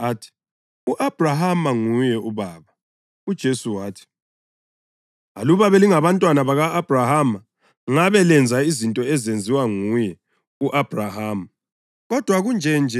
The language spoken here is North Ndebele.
Aphendula athi, “U-Abhrahama nguye ubaba.” UJesu wathi, “Aluba belingabantwana baka-Abhrahama ngabe lenza izinto ezenziwa nguye u-Abhrahama.